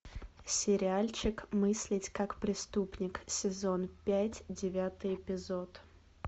сериальчик мыслить как преступник сезон пять девятый эпизод